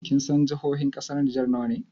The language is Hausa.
Kinsan jihohin ƙasar Nijar nawa ne?